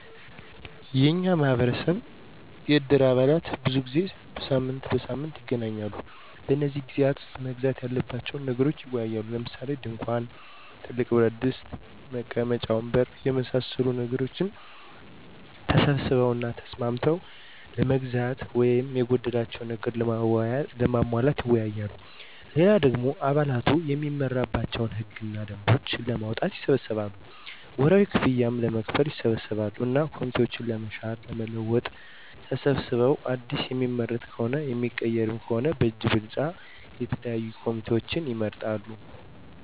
የኛ ማህበረሰብ የእድር አባላት ብዙ ጊዜ ሳምንት በሳምንት ይገናኛሉ። በነዚህ ግዜያት ዉስጥ መገዛት ያለባቸዉን ነገሮች ይወያያሉ። ለምሳሌ፦ ድንኳን፣ ትልቅ ብረትድስት (ጎላ) ፣ መቀመጫ ወንበር የመሳሰሉትን ነገሮች ተሰብስበዉ እና ተስማምተዉ ለመግዛት ወይም የጎደላቸዉን ነገሮች ለማሟላት ይወያያሉ። ሌላ ደሞ አባላቱ እሚመራባቸዉን ህግ እና ደንቦች ለማዉጣትም ይሰበሰባሉ፣ ወርሀዊ ክፍያም ለመክፈል ይሰበሰባሉ እና ኮሚቴዎችን ለመሻር ለመለወጥ ተሰብስበዉ አዲስ እሚመረጥም ሆነ እሚቀየር ከሆነም በእጅ ብልጫ የተለያዩ ኮሚቴዎችን ይመርጣሉ።